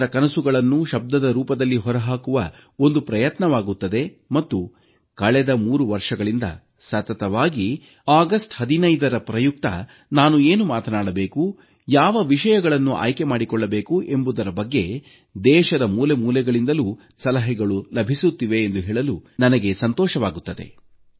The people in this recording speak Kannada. ಜನರ ಕನಸುಗಳನ್ನ ಶಬ್ದದ ರೂಪದಲ್ಲಿ ಹೊರಹಾಕುವ ಒಂದು ಪ್ರಯತ್ನವಾಗುತ್ತದೆ ಮತ್ತು ಕಳೆದ 3 ವರ್ಷಗಳಿಂದ ಸತತವಾಗಿ ಆಗಸ್ಟ್ 15ರ ಪ್ರಯುಕ್ತ ನಾನು ಏನು ಮಾತನಾಡಬೇಕು ಯಾವ ವಿಷಯಗಳನ್ನು ಆಯ್ಕೆ ಮಾಡಿಕೊಳ್ಳಬೇಕು ಎಂಬುದರ ಬಗ್ಗೆ ದೇಶದ ಮೂಲೆಮೂಲೆಗಳಿಂದಲೂ ನನಗೆ ಸಲಹೆಗಳು ಲಭಿಸುತ್ತಿವೆ ಎಂದು ಹೇಳಲು ನನಗೆ ಸಂತೋಷವಾಗುತ್ತದೆ